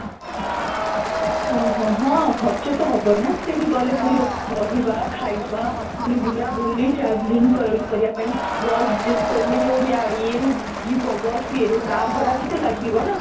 ହଁ ହଁ ହଁ ଖର୍ଚ୍ଚ ତ ହେବ ନା ସେଠି ଗଲେ ପୁଣି ରହିବା ଖାଇବା ପୁଣି ବୁଲା ବୁଲି traveling କରି କରିବା ପାଇଁ bus ଆମେ ଯଉ ଯାଇ ୟେରୁ ଯିବ bus ୟେରୁ ତା' ଭଡା ବି ତ ଲାଗିବ ନା?